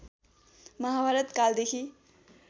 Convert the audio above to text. महाभारत कालदेखि